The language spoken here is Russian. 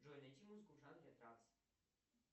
джой найти музыку в жанре транс